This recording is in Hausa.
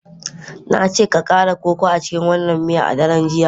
Na ce ka kara koko a cikin wannan miya a daren jiya.